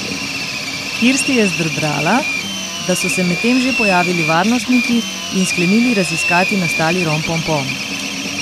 Kirsti je zdrdrala, da so se medtem že pojavili varnostniki in sklenili raziskati nastali rompompom.